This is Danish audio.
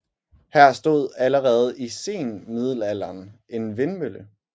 Her stod allerede i senmiddelanderen en vindmølle